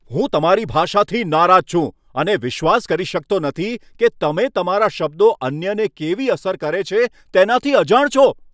હું તમારી ભાષાથી નારાજ છું અને વિશ્વાસ કરી શકતો નથી કે તમે તમારા શબ્દો અન્યને કેવી અસર કરે છે, તેનાથી અજાણ છો.